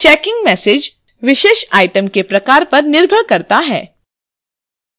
checkin message विशेष item के प्रकार पर निर्भर करता है